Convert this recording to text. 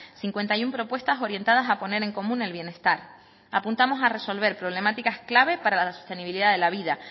cincuenta y uno propuestas orientadas a poner en común el bienestar apuntamos a resolver problemáticas clave para la sostenibilidad de la vida